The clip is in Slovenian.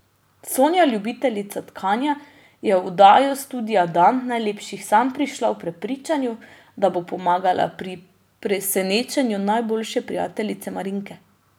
Sonja, ljubiteljica tkanja, je v oddajo studia Dan najlepših sanj prišla v prepričanju, da bo pomagala pri presenečenju najboljše prijateljice Marinke.